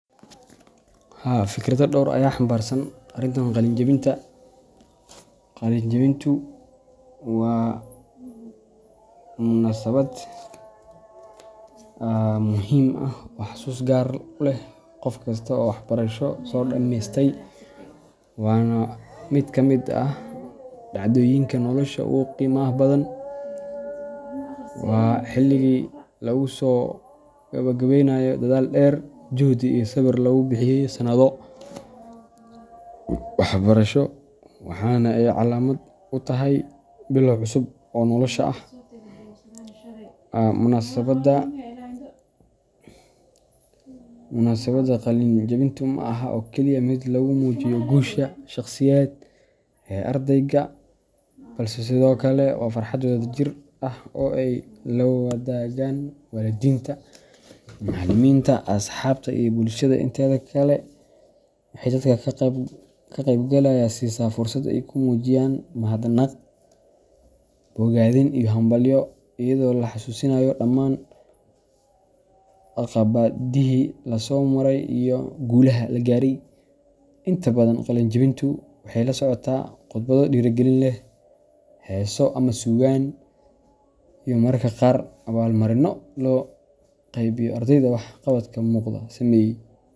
Haa fikrada dhor aya xambarsan arintan qalin jebinta. Qalin jebintu waa munaasabad muhiim ah oo xusuus gaar ah u leh qof kasta oo waxbarasho soo dhameystay, waana mid ka mid ah dhacdooyinka nolosha ugu qiimaha badan. Waa xilligii lagu soo gabagabeynayo dadaal dheer, juhdi iyo sabir lagu bixiyey sannado waxbarasho, waxaana ay calaamad u tahay bilow cusub oo nolosha ah. Munaasabadda qalin jebintu ma aha oo keliya mid lagu muujiyo guusha shakhsiyeed ee ardayga, balse sidoo kale waa farxad wadajir ah oo ay la wadaagaan waalidiinta, macallimiinta, asxaabta, iyo bulshada inteeda kale. Waxay dadka ka qaybgalaya siisaa fursad ay ku muujiyaan mahadnaq, bogaadin iyo hambalyo, iyadoo la xasuusanayo dhammaan caqabadihii la soo maray iyo guulaha la gaaray. Inta badan, qalin jebintu waxay la socotaa khudbado dhiirrigelin leh, heeso ama suugaan, iyo mararka qaar abaalmarinno loo qaybiyo ardayda wax qabadka muuqda sameeyey.